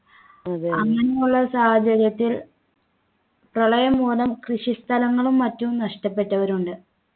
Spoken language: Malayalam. അങ്ങനെയുള്ള സാഹചര്യത്തിൽ പ്രളയം മൂലം പ്രശസ്ത സ്ഥലങ്ങളും മറ്റും നഷ്ടപ്പെട്ടവരുണ്ട്